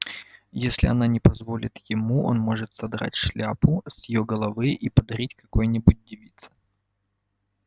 если она не позволит ему он может содрать шляпку с её головы и подарить какой-нибудь девице